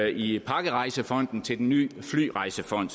i pakkerejsefonden til den nye flyrejsefond